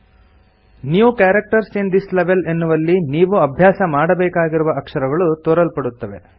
new characters in this level ಎನ್ನುವಲ್ಲಿ ನೀವು ಅಭ್ಯಾಸ ಮಾಡಬೇಕಾಗಿರುವ ಅಕ್ಷರಗಳು ತೋರಲ್ಪಡುತ್ತವೆ